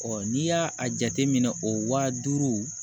n'i y'a a jateminɛ o wa duuru